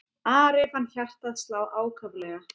Ari fann hjartað slá ákaflega.